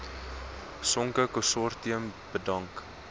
sonke konsortium bedank